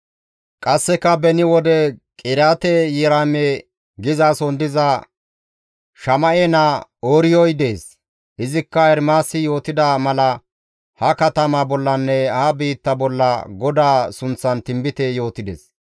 Qasseka beni wode Qiriyaate-Yi7aarime gizason diza Shama7e naa Ooriyoy dees; izikka Ermaasi yootida mala ha katama bollanne ha biitta bolla GODAA sunththan tinbite yootides.